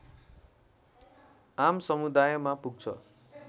आम समुदायमा पुग्छ